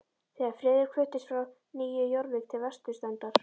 Þegar Friðrik fluttist frá Nýju Jórvík til vesturstrandar